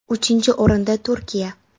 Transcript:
Uchinchi o‘rinda Turkiya.